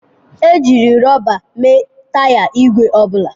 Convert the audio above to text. Ejiri rọba mee taya igwe ọ bụla.